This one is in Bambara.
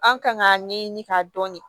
An kan k'a ɲɛɲini k'a dɔn